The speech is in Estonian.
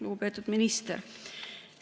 Lugupeetud minister!